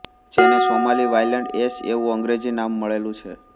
જેને Somali wild ass એવું અંગ્રેજી નામ મળેલું છે